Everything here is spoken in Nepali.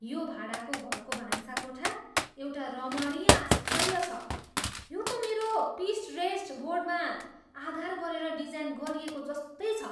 यो भाडाको घरको भान्साकोठा एउटा रमणीय आश्चर्य छ, यो त मेरो पिन्टरेस्ट बोर्डमा आधार गरेर डिजाइन गरिएको जस्तै छ!